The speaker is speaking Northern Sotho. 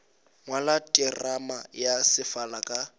ngwala terama ya sefala ka